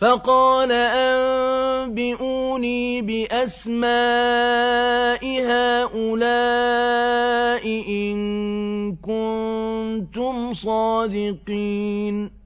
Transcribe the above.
فَقَالَ أَنبِئُونِي بِأَسْمَاءِ هَٰؤُلَاءِ إِن كُنتُمْ صَادِقِينَ